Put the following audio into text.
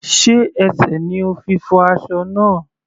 Sé ẹsẹ̀ ni o fi fọ́ aṣọ náà?